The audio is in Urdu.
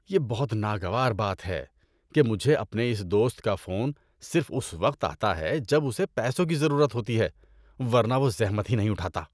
یہ بہت ناگوار بات ہے کہ مجھے اپنے اس دوست کا فون صرف اس وقت آتا ہے جب اسے پیسوں کی ضرورت ہوتی ہے ورنہ وہ زحمت ہی نہیں اٹھاتا۔